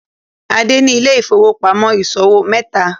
Ade ní Ile-ifowopamọ ìṣòwò meta